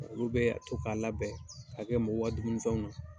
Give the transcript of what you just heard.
Olu bɛ to k'a labɛn ka kɛ mɔgɔw dumuni fɛnw na.